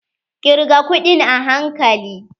Kirga kuɗin a hankali.